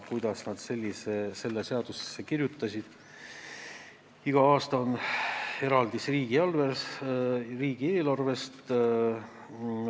Kuidas on see seadusesse kirjutatud, kas iga aasta on eraldis riigieelarvest?